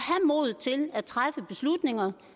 modet til at træffe beslutninger